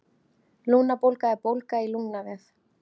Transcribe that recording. Lungnabólga er bólga í lungnavef.